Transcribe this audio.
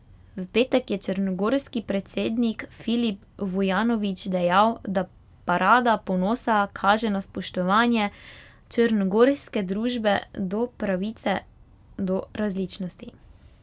V petek je črnogorski predsednik Filip Vujanović dejal, da parada ponosa kaže na spoštovanje črnogorske družbe do pravice do različnosti.